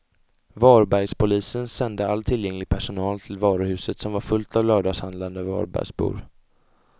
Varbergspolisen sände all tillgänglig personal till varuhuset som var fullt av lördagshandlande varbergsbor.